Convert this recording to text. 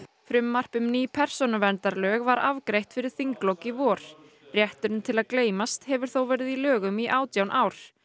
frumvarp um ný persónuverndarlög var afgreitt fyrir þinglok í vor rétturinn til að gleymast hefur þó verið í lögum í átján ár